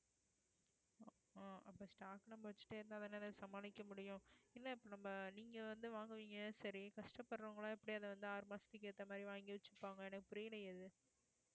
அப்ப stock நம்ப வெச்சுட்டே இருந்தாதானே அதை சமாளிக்க முடியும் இல்லை இப்ப நம்ம நீங்க வந்து வாங்குவீங்க சரி கஷ்டப்படுறவங்க எல்லாம் எப்படி அதை வந்து ஆறு மாசத்துக்கு ஏத்த மாதிரி வாங்கி வச்சுப்பாங்க எனக்கு புரியலையே இது